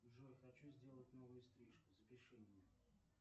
джой хочу сделать новую стрижку запиши меня